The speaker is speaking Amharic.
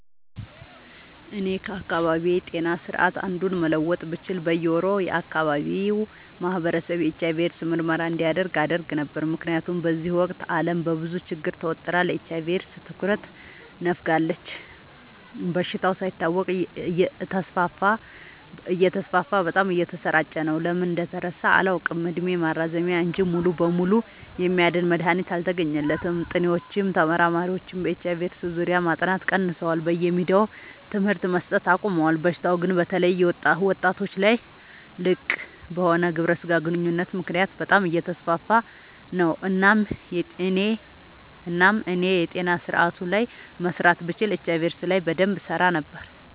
እኔ ከአካባቢዬ ጤና ስርዓት አንዱን መለወጥ ብችል በየ ወሩ የአካባቢው ማህበረሰብ የኤች/አይ/ቪ ኤድስ ምርመራ እንዲያደርግ አደረግ ነበር። ምክንያቱም በዚህ ወቅት አለም በብዙ ችግር ተወጥራ ለኤች/አይ/ቪ ኤድስ ትኩረት ነፋጋለች። በሽታው ሳይታወቅበት እተስፋፋ በጣም እየተሰራጨ ነው። ለምን እንደተረሳ አላውቅ እድሜ ማራዘሚያ እንጂ ሙሉ በሙሉ የሚያድን መድሀኒት አልተገኘለትም ጥኒዎችም ተመራማሪዎችም በኤች/አይ/ቪ ኤድስ ዙሪያ ማጥናት ቀንሰዋል በየሚዲያውም ትምህርት መሰት አቆሞል። በሽታው ግን በተለይ ወጣቶች ላይ ልቅበሆነ ግብረ ስጋ ግንኙነት ምክንያት በጣም አየተስፋፋ ነው። እናም እኔ የጤና ስረአቱ ላይ መስራት ብችል ኤች/አይ/ቪ ኤድስ ላይ በደንብ እሰራ ነበር።